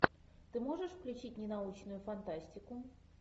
ты можешь включить ненаучную фантастику